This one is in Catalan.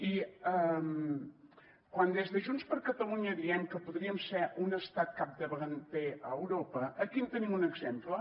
i quan des de junts per catalunya diem que podríem ser un estat capdavanter a europa aquí en tenim un exemple